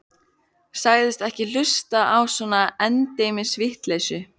Sagðist ekki hlusta á svona endemis vitleysu.